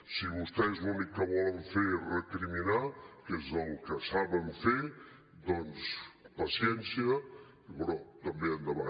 si vostès l’únic que volen fer és recriminar que és el que saben fer doncs paciència però també endavant